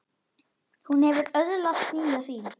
Hún hefur öðlast nýja sýn.